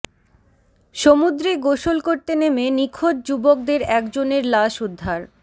সমুদ্রে গোসল করতে নেমে নিখোঁজ যুবকদের একজনের লাশ উদ্ধার